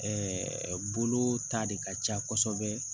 Ɛɛ bolo ta de ka ca kosɛbɛ